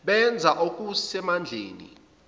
benza okuse mandleni